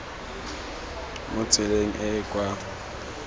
mo tseleng e e kwa